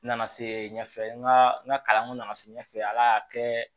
N nana se ɲɛfɛ n ka n ka kalanko nana se ɲɛfɛ ala y'a kɛ